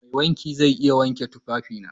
Mai wanki zai iya wanke tufafina?